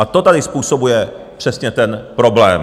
A to tady způsobuje přesně ten problém.